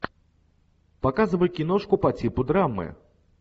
показывай киношку по типу драмы